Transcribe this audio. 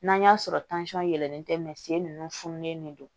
N'an y'a sɔrɔ yɛlɛnen tɛ sen nunnu fununen de don